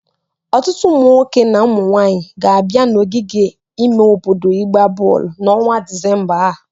Ọtụtụ ụmụnwoke na ụmụ nwaanyị ga-abịa n'ogige ime obodo ịgba bọọlụ n'ọnwa Disemba a.